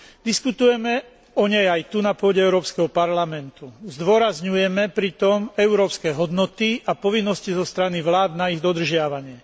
Diskutujeme o nej aj tu na pôde Európskeho parlamentu, zdôrazňujeme pritom európske hodnoty a povinnosti zo strany vlád na ich dodržiavanie.